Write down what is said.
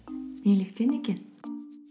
неліктен екен